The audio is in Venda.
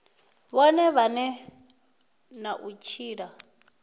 vhone vhane na u tshila